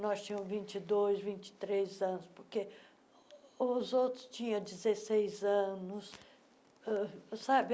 Nós tínhamos vinte dois, vinte três anos, porque os outros tinham dezeseis anos. uh sabe